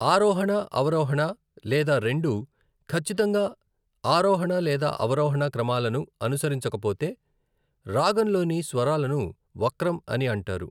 ఆరోహణ, అవరోహణ లేదా రెండూ, ఖచ్చితంగా ఆరోహణ లేదా అవరోహణ క్రమాలను అనుసరించకపోతే, రాగంలోని స్వరాలను వక్రం అని అంటారు.